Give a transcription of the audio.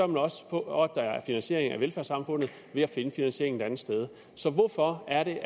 man også for at der er finansiering af velfærdssamfundet ved at finde finansieringen et andet sted hvorfor er det